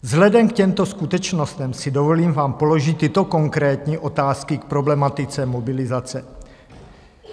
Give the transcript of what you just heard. Vzhledem k těmto skutečnostem si dovolím vám položit tyto konkrétní otázky k problematice mobilizace.